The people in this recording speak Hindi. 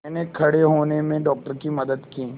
मैंने खड़े होने में डॉक्टर की मदद की